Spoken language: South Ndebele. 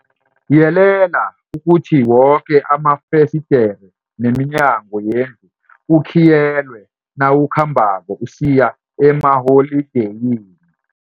Yelela ukuthi woke amafesidere neminyango yendlu kukhiyelwe nawukhambako usiya emaholideyini.